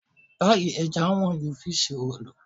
Páì ẹlẹ́ja wọ́n ju fíṣí roòlù.